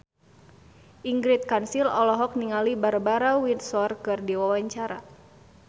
Ingrid Kansil olohok ningali Barbara Windsor keur diwawancara